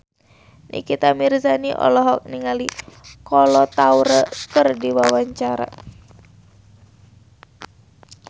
Nikita Mirzani olohok ningali Kolo Taure keur diwawancara